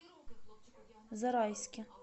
зарайске